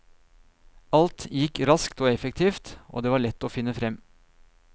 Alt gikk raskt og effektivt, og det var lett å finne frem.